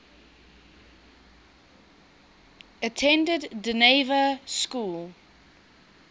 attended dynevor school